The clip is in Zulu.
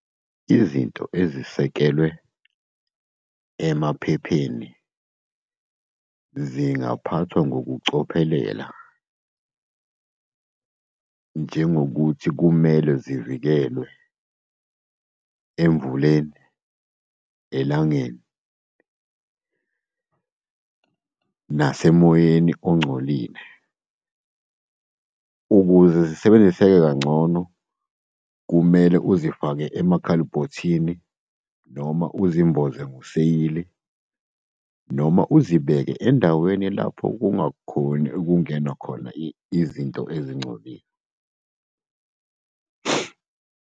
Izinto ezisekelwe emaphepheni zingaphathwa ngokucophelela, njengokuthi kumele zivikelwe emvuleni, elangeni, nasemoyeni ongcolile. Ukuze zisebenzise kangcono, kumele uzifake emakhalbhothini, noma uzimboze ngoseyili, noma uzibeke endaweni lapho kungakhoni ukungenwa khona izinto ezingcolile.